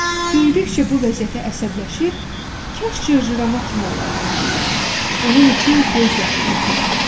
Böyüdükcə bu vəziyyətə əsəbləşir, kaş cırcırama kimi olaydım deyir, bunun üçün göz yaşı tökür.